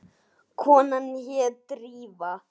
Konan hét Drífa.